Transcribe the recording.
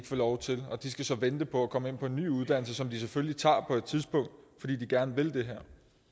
få lov til så de skal vente på at komme ind på en ny uddannelse som de selvfølgelig tager på et tidspunkt fordi de gerne vil det